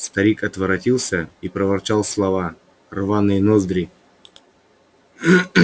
старик отворотился и проворчал слова рваные ноздри